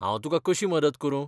हांव तुकां कशी मदत करूं?